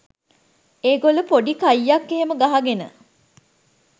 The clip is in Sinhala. ඒගොල්ලො පොඩි කයියක් එහෙම ගහගෙන